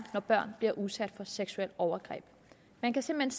at børn bliver udsat for seksuelle overgreb man kan simpelt